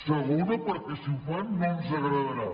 segona perquè si ho fan no ens agradarà